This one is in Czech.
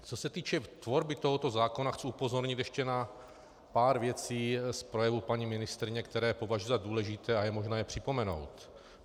Co se týče tvorby tohoto zákona, chci upozornit ještě na pár věcí z projevu paní ministryně, které považuji za důležité a je možné je připomenout.